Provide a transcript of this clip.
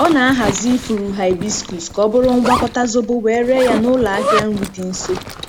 Ọ na-ahazi ifuru hibiscus ka ọ bụrụ ngwakọta zobo wee ree ya n'ụlọ ahịa nri dị nso.